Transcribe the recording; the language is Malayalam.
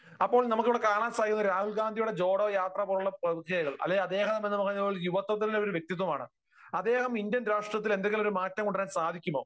അപ്പോൾ നമുക്കിവിടെ കാണാൻ സാധിക്കുന്നത് രാഹുൽ ഗാന്ധിയുടെ ജോഡോ യാത്രപോലുള്ള അല്ലെങ്കിൽ അദ്ദേഹം എന്ന് പറയുന്നത് യുവത്വത്തിന്റെ ഒരു വ്യക്തിത്വമാണ്. അദ്ദേഹം ഇന്ത്യൻ രാഷ്ട്രീയത്തിൽ എന്തെങ്കിലും ഒരു മാറ്റം കൊണ്ടുവരാൻ സാധിക്കുമോ?